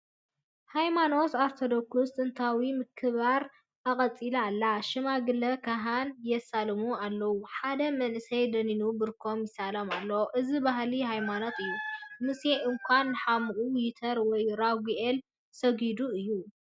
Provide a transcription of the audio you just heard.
ሃይማኖት ኦርቶዶክስ ጥንታዊ ምክብባር ኣቐፂላ ኣላ፡፡ ሽማግለ ካህን የሳልሙ ኣለዉ፡፡ ሓደ መንእሰይ ደኒኑ ብርኮም ይሳለሞም ኣሎ፡፡ እዚ ባህሊ ሃይማኖት እዩ፡፡ ሙሴ እዃ ንሓሙኡ ዮተር ወይ ራጉኤል ሰጊዱሉ እዩ፡፡